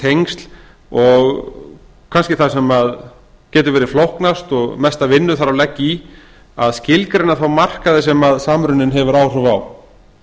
tengsl og kannski það sem getur verið flóknast og mesta vinnu þarf að leggja í að skilgreina þá markaði sem samruninn hefur áhrif á